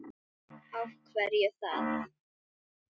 Kristján Már: Af hverju það?